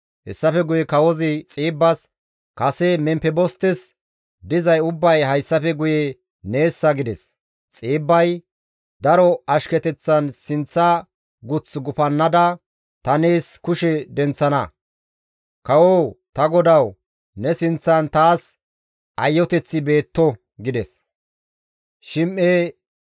Hessafe guye kawozi Xiibbas, «Kase Memfebostes dizay ubbay hayssafe guye neessa» gides; Xiibbay, «Daro ashketeththan sinththa guth gufannada ta nees kushe denththana; kawo ta godawu ne sinththan taas ayoteththi beetto» gides.